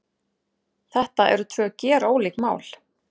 Þetta eru tvö gerólík mál